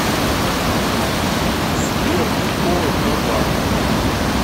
сбер приколы про банк